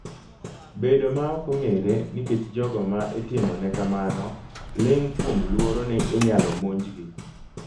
bedo ma ok ong'ere nikech jogo ma itimone kamano ling' kuom luoro ni inyalo monjgi